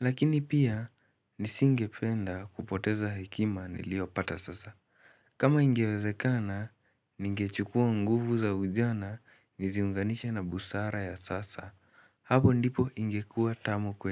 Lakini pia, nisingependa kupoteza hekima niliopata sasa. Kama ingewezekana, ningechukua nguvu za ujana, niziunganisha na busara ya sasa. Hapo ndipo ingekua tamu kweli.